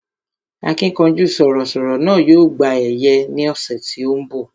Akínkanjú sọ̀rọ̀ sọ̀rọ̀ náà yóò gba ẹ̀yẹ ní ọ̀sẹ̀ tí ó ń bọ̀